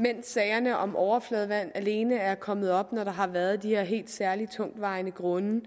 mens sagerne om overfladevand alene er kommet op når der har været de her helt særlig tungtvejende grunde